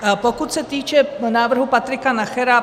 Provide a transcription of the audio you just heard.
Pokud se týče návrhu Patrika Nachera.